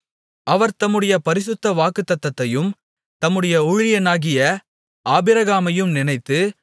அவர் தம்முடைய பரிசுத்த வாக்குத்தத்தத்தையும் தம்முடைய ஊழியனாகிய ஆபிரகாமையும் நினைத்து